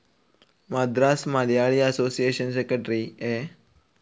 Madras Malayali association secretary A.